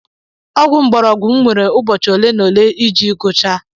Ogwu ngborogu m nwere ụbọchị ole na ole iji gucha.